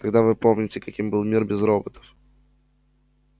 когда вы не помните каким был мир без роботов